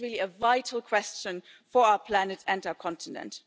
This is really a vital question for our planet and our continent.